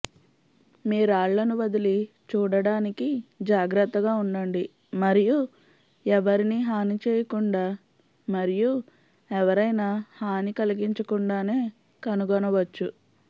మీ రాళ్లను వదిలి చూడడానికి జాగ్రత్తగా ఉండండి మరియు ఎవరినీ హాని చేయకుండా మరియు ఎవరైనా హాని కలిగించకుండానే కనుగొనవచ్చు